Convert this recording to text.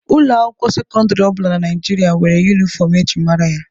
Ụlọ akwụkwọ sekọndịrị ọ bụla na Naijirịa nwere yunifọmụ e ji mara ya.